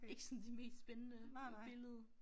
Ikke sådan det mest spændende billede